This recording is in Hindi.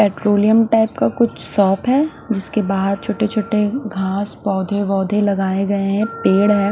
पेट्रोलियम टाइप का कुछ शॉप है जिसके बाहर छोटे छोटे घास पोधे वोधे लगाये गये है पेड़ है।